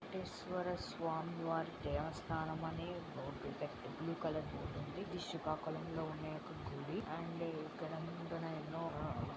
వెంకటేశ్వరా స్వామి వారి దేవస్థానం అని బోర్డు బ్లూ కలర్ బోర్డు వుంది వున్నా యొక్క గుడి అండ్ ఇక్కడ ఎనో --